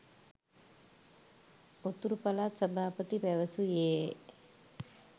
උතුරු පළාත් සභාපති පැවසුයේ